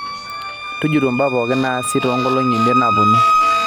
tujuto mbaa pooki naasi too nkolongi imiet napuonu